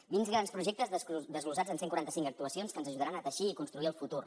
vint grans projectes desglossats en cent i quaranta cinc actuacions que ens ajudaran a teixir i construir el futur